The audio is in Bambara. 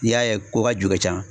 N'i y'a ye ko ka ju ka can